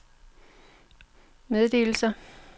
meddelelser